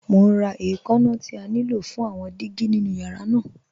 Mọ̀ n rá ẹ̀kànna tí à ní ló fún àwọn dígí nínu yàrá náà.